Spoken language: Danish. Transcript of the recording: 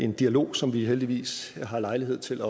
en dialog som vi heldigvis har lejlighed til